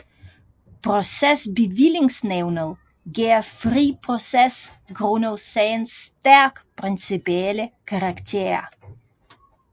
Procesbevillingsnævnet gav fri proces grundet sagens stærkt principielle karakter